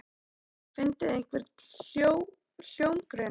Hefurðu fundið einhvern hljómgrunn?